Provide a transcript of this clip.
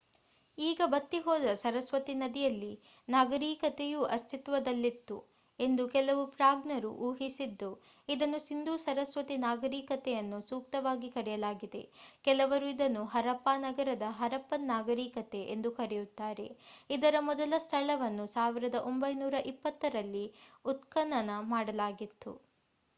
ಈಗ ಬತ್ತಿ ಹೋದ ಸರಸ್ವತಿ ನದಿಯಲ್ಲಿ ನಾಗರೀಕತೆಯೂ ಅಸ್ತಿತ್ವದಲ್ಲಿತ್ತು ಎಂದು ಕೆಲವು ಪ್ರಾಜ್ಞರು ಊಹಿಸಿದ್ದು ಇದನ್ನು ಸಿಂಧೂ ಸರಸ್ವತಿ ನಾಗರೀಕತೆಯನ್ನು ಸೂಕ್ತವಾಗಿ ಕರೆಯಲಾಗಿದೆ ಕೆಲವರು ಇದನ್ನು ಹರಪ್ಪಾ ನಂತರದ ಹರಪ್ಪನ್ ನಾಗರೀಕತೆ ಎಂದು ಕರೆಯುತ್ತಾರೆ ಇದರ ಮೊದಲ ಸ್ಥಳವನ್ನು 1920 ರಲ್ಲಿ ಉತ್ಖನನ ಮಾಡಲಾಗಿತ್ತು